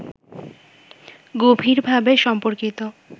গভীরভাবে সম্পর্কিত